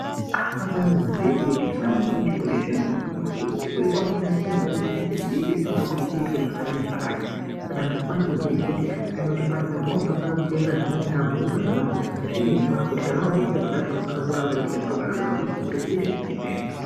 Unofanirwe kuziye kuti kana muntu uine chirwere zviyani unofanire kuziye kuti chirwere chinechi chinoda kuti chiitwe zavakati nezvakati. Saka antu anofana kuziye kuti akaenda kuchipatara zviyani anofanira kuita zvaanenge abhuirwa nezviremba kuti kana wazi ite zvakati, unofana kuramba achiite zviro zvakadaro ndookuti chirwere chidini, chipere